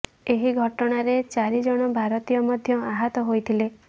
ଏହି ଘଟଣାରେ ଚାରି ଜଣ ଭାରତୀୟ ମଧ୍ୟ ଆହତ ହୋଇଥିଲେ